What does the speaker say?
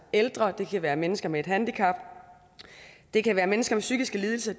ældre det kan være mennesker med handicap og det kan være mennesker med psykiske lidelser